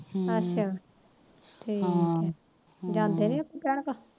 ਅੱਛਾ ਠੀਕੇ ਜਾਂਦੇ ਨੀ ਭੈਣਾਂ ਕੋਲ